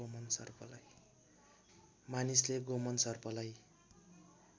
मानिसले गोमन सर्पलाई